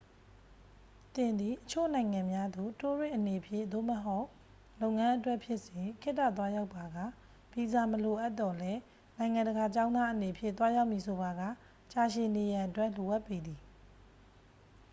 သင်သည် အချို့နိုင်ငံများသို့ တိုးရစ်အနေဖြင့် သို့မဟုတ် လုပ်ငန်းအတွက် ဖြစ်စေ ခေတ္တသွားရောက်ပါက ဗီဇာမလိုအပ်သော်လည်း နိုင်ငံတကာကျောင်းသားအနေဖြင့် သွားရောက်မည်ဆိုပါက ကြာရှည်နေရန်အတွက် လိုအပ်ပေသည်